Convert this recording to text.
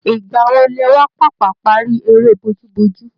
Ìgbà wo lẹ wá pàpà parí erẹ́ bojúbojú